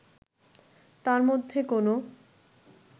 তার মধ্যে কোনো